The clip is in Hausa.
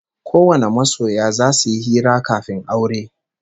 Kowane masoya zasu yi hira kafin aure